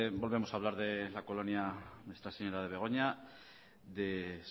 volvemos a hablar de la colonia nuestra señora de begoña de